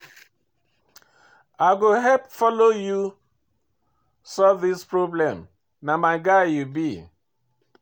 I go help follow you solve this problem, na my guy you be.